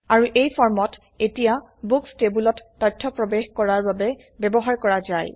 আৰু এই ফৰ্মত এতিয়া বুক্স টেবোলত তথ্য প্ৰবেশ কৰাবৰ বাবে ব্যবহাৰ কৰা যায়